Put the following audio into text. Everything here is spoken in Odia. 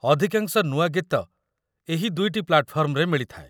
ଅଧିକାଂଶ ନୂଆ ଗୀତ ଏହି ଦୁଇଟି ପ୍ଲାଟ୍‌ଫର୍ମରେ ମିଳିଥାଏ।